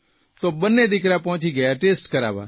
તો બંને દિકરા પહોંચી ગયા ટેસ્ટ કરાવવા